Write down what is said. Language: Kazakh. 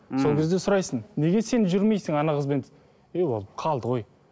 сол кезде сұрайсың неге сен жүрмейсің қызбен ей ол қалды ғой